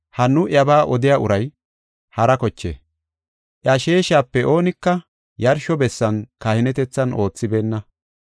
Ha nu iyabaa odiya uray hara koche; iya sheeshape oonika yarsho bessan kahinetethan oothibeenna.